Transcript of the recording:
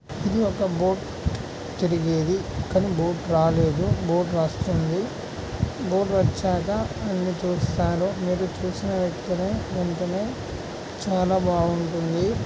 ఇది ఒక బోట్ తిరిగేది కానీ బోటు రాలేదు బోట్ వస్తుంది బోటు వచ్చాక అన్ని చూస్తాను మీరు చాలా బాగుంటుంది.